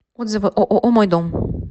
отзывы ооо мой дом